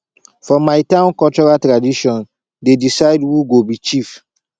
for my town cultural tradition dey decide who go be chief